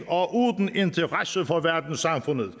og uden interesse for verdenssamfundet